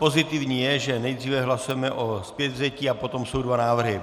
Pozitivní je, že nejdříve hlasujeme o zpětvzetí, a potom jsou dva návrhy.